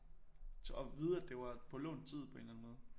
Og vide at det var på lånt tid på en eller anden måde